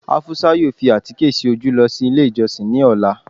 afusa yóò fi àtíkẹ́ sí ojú losí ilé ijosin ní ọla